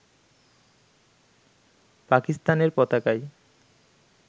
পাকিস্তানের পতাকায়